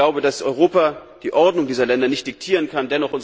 Ich glaube, dass Europa die Ordnung dieser Länder nicht diktieren kann.